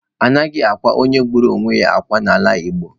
Anaghị akwa onye gburu onwe ya akwa n'ala Igbo.